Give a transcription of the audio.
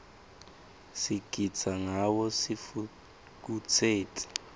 sigitsa ngawo sitfukutseti